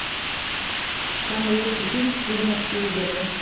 самый лучший фильм стивена спилберга